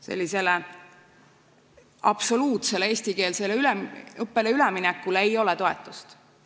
Sellisele absoluutsele eestikeelsele õppele üleminekule toetust ei ole.